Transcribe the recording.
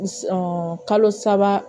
kalo saba